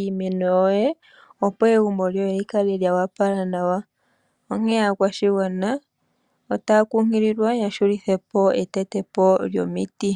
iimeno yoye, opo egumbo lyoye lyikale lyoopala nawa, onghee aakwashigwana ota ya kunkililwa ya hulithepo oku teta omiti.